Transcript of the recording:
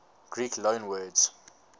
greek loanwords